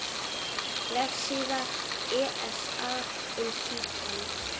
Vefsíða ESA um Títan.